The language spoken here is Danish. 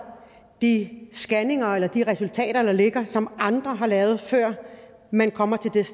de scanninger eller de resultater der ligger som andre har lavet før man kommer